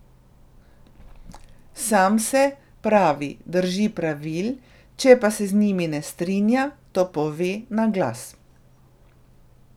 Sam se, pravi, drži pravil, če pa se z njimi ne strinja, to pove na glas.